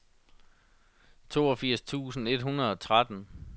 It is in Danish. toogfirs tusind et hundrede og tretten